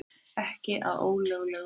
Ekki að ólöglegum veiðum